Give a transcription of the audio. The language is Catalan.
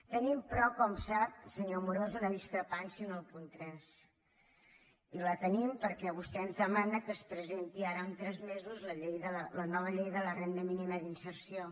tenim però com sap senyor amorós una discrepància en el punt tres i la tenim perquè vostè ens demana que es presenti ara en tres mesos la nova llei de la renda mínima d’inserció